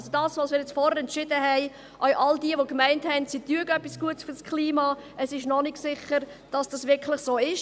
Bei dem, was wir – auch all jene, die gemeint haben, sie täten etwas Gutes für das Klima – vorhin entschieden haben, ist also noch nicht sicher, dass das wirklich so ist.